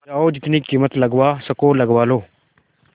जाओ जितनी कीमत लगवा सको लगवा लो